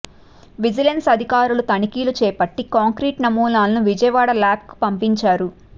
vigilance అధికారులు తనిఖీలు చేపట్టి కాంక్రీట్ నమూనాలను విజయవాడ ల్యాబ్కు పంపించారు